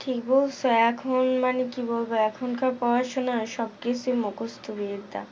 ঠিক বলছো এখন মানে কি বলবো এখনকার পড়াশোনা সবক্ষেত্রে মুকস্ত বিদ্যা